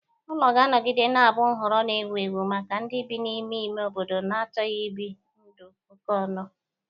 Ụlọ ga-anọgide na-abụ nhọrọ na-ewu ewu maka ndị bi n'ime ime obodo na-achọghi ibi ndụ okonu.